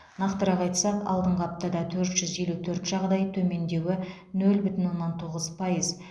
нақтырақ айтсақ алдыңғы аптада төрт жүз елу төрт жағдай төмендеуі нөл бүтін оннан тоғыз пайыз